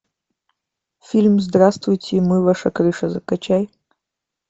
фильм здравствуйте мы ваша крыша закачай